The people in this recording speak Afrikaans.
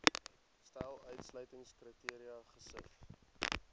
stel uitsluitingskriteria gesif